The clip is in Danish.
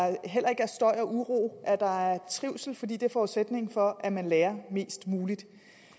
der heller ikke er støj og uro at der er trivsel fordi det er forudsætningen for at man lærer mest muligt